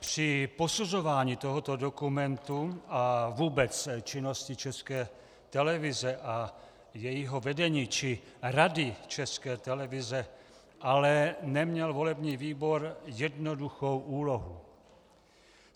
Při posuzování tohoto dokumentu a vůbec činnosti České televize a jejího vedení či Rady České televize ale neměl volební výbor jednoduchou úlohu.